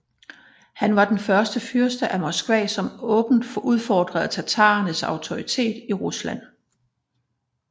Han var den første fyrste af Moskva som åbent udfordrede tatarenes autoritet i Rusland